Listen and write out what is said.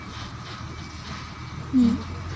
ହ୍ମ